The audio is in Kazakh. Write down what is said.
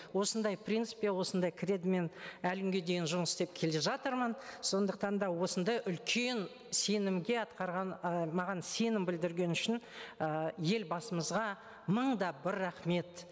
осындай принципке осындай кредомен әлі күнге дейін жұмыс істеп келе жатырмын сондықтан да осындай үлкен сенімге атқарған і маған сенім білдірген үшін ы елбасымызға мың да бір рахмет